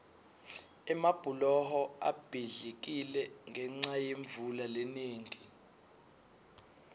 emabhuloho abhidlikile ngenca yemvula lenengi